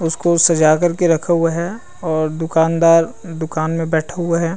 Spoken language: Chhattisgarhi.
उसको सजा कर के रखा हुआ है और दुकानदार दुकान में बैठा हुआ है ।